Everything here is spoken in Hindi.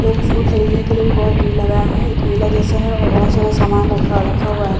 लोग फूल खरीदने के लिए भी बहुत भीड़ लगाए हुए हैं एक मेला जैसा है और बहुत सारा सामान रक्खा रखा हुआ है।